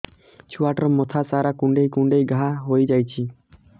ଛୁଆଟାର ମଥା ସାରା କୁଂଡେଇ କୁଂଡେଇ ଘାଆ ହୋଇ ଯାଇଛି